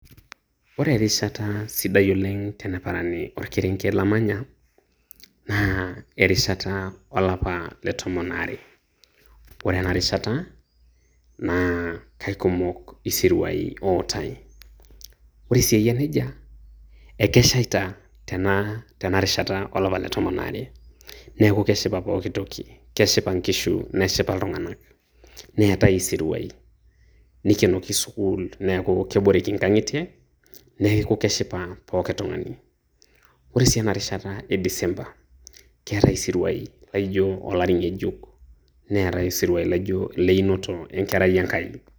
Ore erishata sidai oleng' teneparani orkerenket lamanya, naa erishata olapa letomon aare. Ore enarishata, naa kaikumok isiruai ootae. Ore si eyia nejia, ekeshaita tenarishata olapa letomon aare. Neeku keshipa pooki toki. Keshipa nkishu, neshipa iltung'anak. Neetae isiruai. Nikenoki sukuul, neeku keboreki nkang'itie, neeku keshipa pookin tung'ani. Ore si enarishata e disemba, keetae isiruai laijo olari ng'ejuk. Neetae isiruai laijo ileinoto enkerai e Nkai.